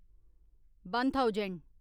one thousand